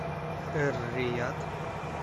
эр рияд